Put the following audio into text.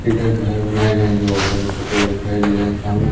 इधर घर बनाए गए हैं जो दिखाई दे रहा है सामने।